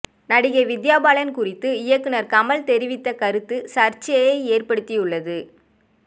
நடிகை வித்யா பாலன் குறித்து இயக்குனர் கமல் தெரிவித்த கருத்து சர்ச்சையை ஏற்படுத்தியுள்ளது